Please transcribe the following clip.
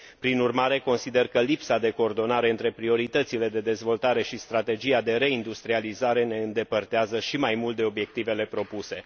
Prin urmare, consider că lipsa de coordonare între prioritățile de dezvoltare și strategia de reindustrializare ne îndepărtează și mai mult de obiectivele propuse.